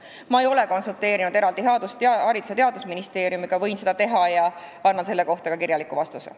Ma ei ole konsulteerinud eraldi Haridus- ja Teadusministeeriumiga, aga võin seda teha ja anda teile selle kohta kirjaliku vastuse.